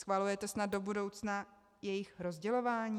Schvalujete snad do budoucna jejich rozdělování?